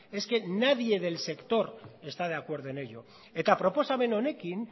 es que nadie del sector está de acuerdo en ello eta proposamen honekin